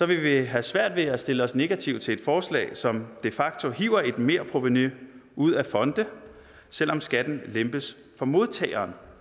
vil vi have svært ved at stille os negative an til et forslag som de facto hiver et merprovenu ud af fonde selv om skatten lempes for modtageren